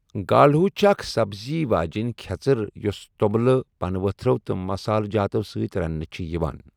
گالہو چھِ اکھ سَبزی واجٮ۪ن کھیژر یوٚس توٚمُلہٕ ، پنہٕ ؤتھرو تہٕ مصالہ جاتو سۭتۍ رننہٕ یِوان چھِ ۔